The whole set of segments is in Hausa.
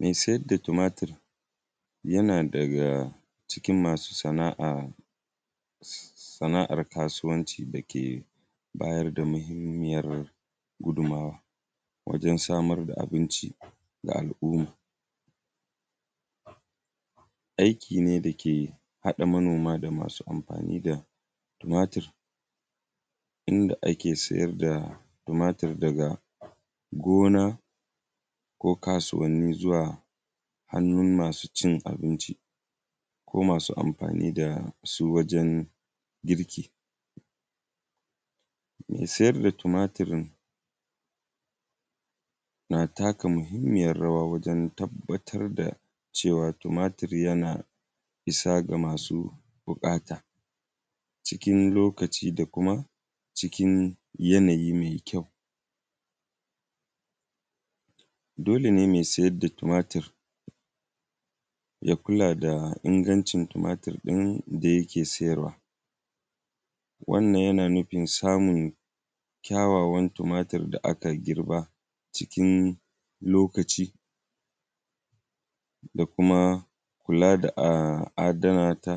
Me siyad da tumatir, yana daga cikin masu sana’a s;s; sana’ar kasuwanci da ke bayar da mihimmiyar gudunmawa wajen samar da abinci ga aluma. Aiki ne da ke haɗa manoma da masu amfani da tumatir inda ake siyar da tumatir daga gona ko kasuwanni zuwa hannun masu cin abinci, ko masu amfani da su wajen girki. Me siyar da tumatir na taka muhimmiyar rawa wajen tabbatar da cewa tumatir yana isa ga masu buƙata cikin lokaci da kuma cikin yanayi me kyau. Dole ne me siyar da tumatir, ya kula da ingancin tumatir ɗin da yake siyarwa. Wannan, yana nufin samun kyawawan tumatir da aka girba cikin lokaci da kuma kula da a; adana ta,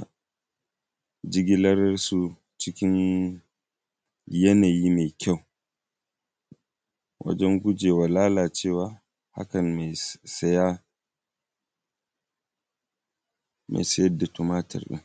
jigilar su cikin yanayi me kyau wajen guje wa lalalcewa. Hakan, me s; saya, me sayad da tumatir ɗin.